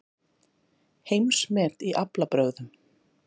Heimsmet í aflabrögðum